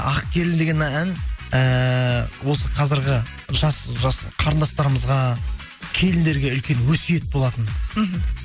ақ келін деген ән ііі осы қазіргі жас қарындастарымызға келіндерге үлкен өсиет болатын мхм